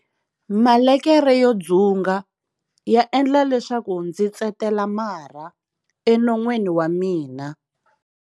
Malekere yo dzunga ya endla leswaku ndzi tsetela marha enon'weni wa mina.